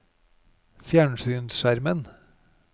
fjernsynsskjermen